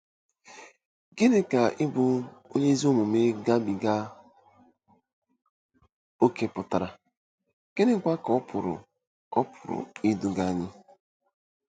Gịnị ka ịbụ “ onye ezi omume gabiga ókè pụtara, gịnịkwa ka ọ pụrụ ọ pụrụ iduga anyị?